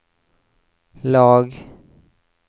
lag